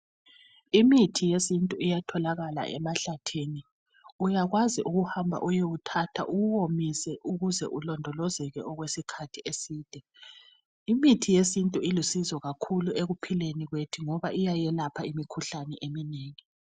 Imithi yesintu iyatholakala emahlathini. Uyakwazi ukuhamba uyewuthatha uwuwomise ukuze ulondolozeke okwesikhathi eside. Imithi yesintu ilusizo kakhulu ekuphileni kwethu ngoba iyayelapha imkhuhlane eminengi